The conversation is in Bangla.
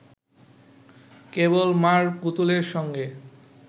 কেবল মা’র পুতুলের সঙ্গে